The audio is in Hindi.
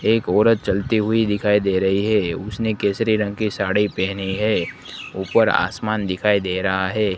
एक औरत चलती हुई दिखाई दे रही है उसने केसरी रंग के साड़ी पहने है। ऊपर आसमान दिखाई दे रहा हैं।